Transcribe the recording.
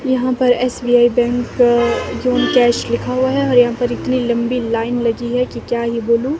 यहां पर SBI bank अ जून कैश लिखा हुआ है और यहां पर इतनी लंबी लाइन लगी है कि क्या ही बोलूं--